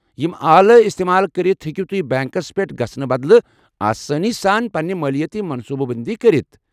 یم آلہٕ استعمال کرتھ ، ہیٚکِو تُہۍ بینكس پیٹھ گژھنہٕ بدلہٕ آسٲنی سان پنٕنہِ مٲلیٲتی منصوٗبہٕ بنٛدی کٔرتھ۔